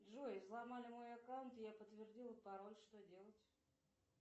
джой взломали мой аккаунт я подтвердила пароль что делать